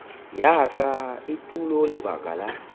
ya ka etulo lebaka la